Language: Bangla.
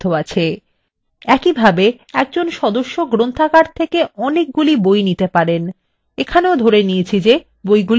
একইভাবে একজন সদস্য অনেকগুলি বই ধার করতে পারেন এখানেও ধরে নিচ্ছি বইগুলি উপলব্ধ রয়েছে